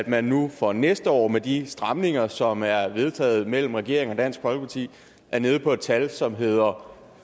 man nu for næste år med de stramninger som er vedtaget mellem regeringen og dansk folkeparti er nede på et tal som hedder